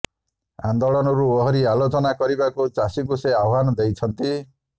ଆନ୍ଦୋଳନରୁ ଓହରି ଆଲୋଚନା କରିବାରୁ ଚାଷୀଙ୍କୁ ସେ ଆହ୍ୱାନ ଦେଇଛନ୍ତି